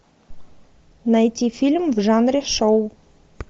найти фильм в жанре шоу